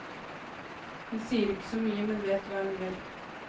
Hun sier ikke så mye, men vet hva hun vil.